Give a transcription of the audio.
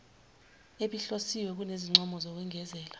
ebihlosiwe kunezincomo zokwengezela